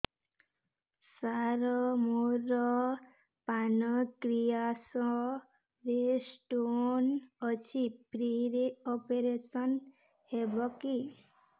ସାର ମୋର ପାନକ୍ରିଆସ ରେ ସ୍ଟୋନ ଅଛି ଫ୍ରି ରେ ଅପେରସନ ହେବ କି